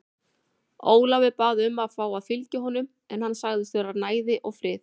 Ólafur bað um að fá að fylgja honum en hann sagðist þurfa næði og frið.